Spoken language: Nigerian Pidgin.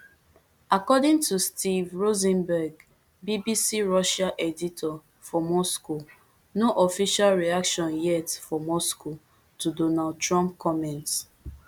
according to steve rosenberg bbc russia editor for moscow no official reaction yet for moscow to donald trump comments